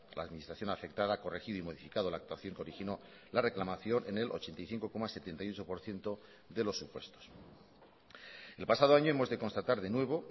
la administración afectada ha corregido y modificado la actuación que originó la reclamación en el ochenta y cinco coma setenta y ocho por ciento de los supuestos el pasado año hemos de constatar de nuevo